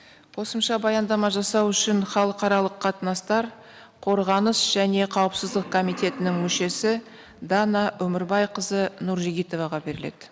қосымша баяндама жасау үшін халықаралық қатынастар қорғаныс және қауіпсіздік комитетінің мүшесі дана өмірбайқызы нұржігітоваға беріледі